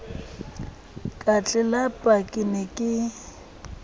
ka tlelapa ke ne ke